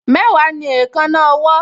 Mẹ́wàá ni èékánná ọwọ́